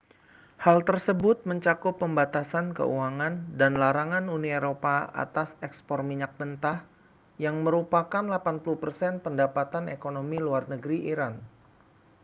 hal tersebut mencakup pembatasan keuangan dan larangan uni eropa atas ekspor minyak mentah yang merupakan 80% pendapatan ekonomi luar negeri iran